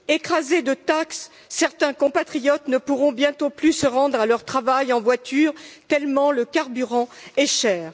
Écrasés de taxes, certains compatriotes ne pourront bientôt plus se rendre à leur travail en voiture tellement le carburant est cher.